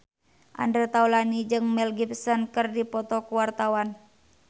Andre Taulany jeung Mel Gibson keur dipoto ku wartawan